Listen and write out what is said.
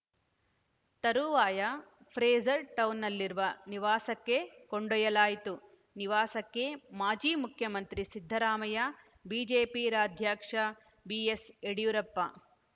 ತರುವಾಯ ಫ್ರೇಜರ್‌ ಟೌನ್‌ನಲ್ಲಿರುವ ನಿವಾಸಕ್ಕೆ ಕೊಂಡೊಯ್ಯಲಾಯಿತು ನಿವಾಸಕ್ಕೆ ಮಾಜಿ ಮುಖ್ಯಮಂತ್ರಿ ಸಿದ್ದರಾಮಯ್ಯ ಬಿಜೆಪಿ ರಾಜ್ಯಾಧ್ಯಕ್ಷ ಬಿಎಸ್‌ಯಡಿಯೂರಪ್ಪ